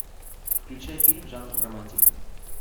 включай фильм жанр романтика